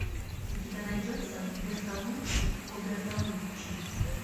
у тебя найдется бертолуччи о бертолуччи